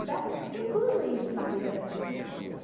Então, tem tudo isso na vida dessas pessoas.